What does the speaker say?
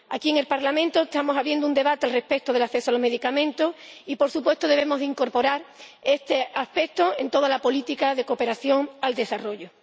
Aquí en el Parlamento estamos abriendo un debate respecto del acceso a los medicamentos y, por supuesto, debemos incorporar este aspecto en toda la política de cooperación al desarrollo.